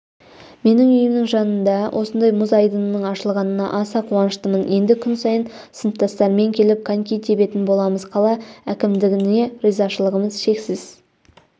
менің үйімнің жанында осындай мұз айдынның ашылғанына аса қуаныштымын енді күн сайын сыныптастарыммен келіп коньки тебетін боламыз қала әкімдігіне ризашылығымыз шексіз